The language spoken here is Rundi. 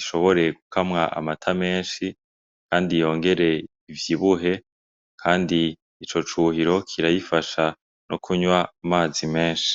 ishobore gukamwa amata menshi, kandi yongere ivyibuhe, kandi ico cuhiro kirayifasha no kunywa amazi menshi.